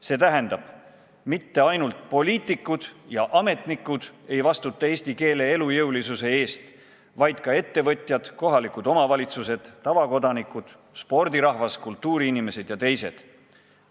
See tähendab, et eesti keele elujõulisuse eest ei vastuta mitte ainult poliitikud ja ametnikud, vaid seda teevad ka ettevõtjad, kohalikud omavalitsused, tavakodanikud, spordirahvas, kultuuriinimesed ja teised.